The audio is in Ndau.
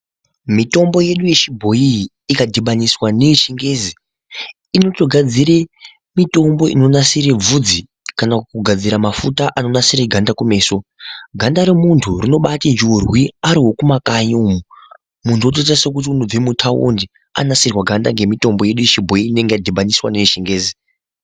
Mitombo yeduu yechibhoyi ikadhibaniswa neyechingezi inotogadzire mitombo inonasire bvudzi kana kugadzire mafuta anonasire ganda kumeso ganda remunhu rinoba ati njurwi ariwekumakanyi umu, muntu wotoitasekuti unobva mutaundi anasirwe ganda nemitombo yedu yechibhoyi inonge yadhibaniswa neyechingezi.